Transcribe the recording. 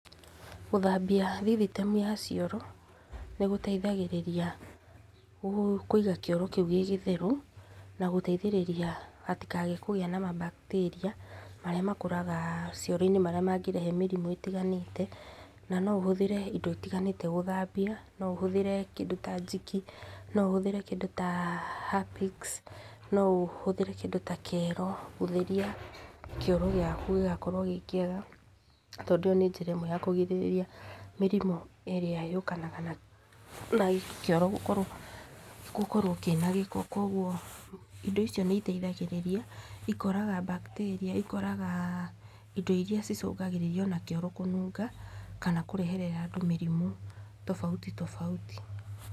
Gũthambia thititemu cia cioro, nĩgũteithagĩrĩria kũiga kĩoro kĩu gĩ gĩtheru, na gũteithĩrĩria hatikage kũgĩa na ma bacteria, marĩa makũraga cioro, marĩa mangĩrehe mĩrimũ itiganĩte, na ũhũthire indo itiganĩte gũthambia, no ũhũthire kĩndũ ta njiki , no ũhũthire kĩndũ ta Happix , no ũhũthĩre kĩndũ ta kero gũtheria kĩoro gĩaku gĩgakorwo gĩ kĩega, tondũ nĩ njĩra ĩmwe ya kũrigĩrĩria mĩrimũ ĩrĩa yũkanaga na kĩoro gũkorwo, gũkorwo kĩna gĩko, kũgwo indo icio nĩ iteithagĩrĩria ikoraga bacteria, ikoraga indo iria cicũngagĩrĩria ona kĩoro kũnunga, kana kũreherera andũ mĩrimũ tobauti tobauti.